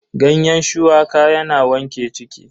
Ganyen shuwaka yana wanke ciki.